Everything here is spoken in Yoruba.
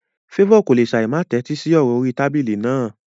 Favour kò lè ṣáì má tẹ́tí sí ọ̀rọ̀ orí tábìlì náà.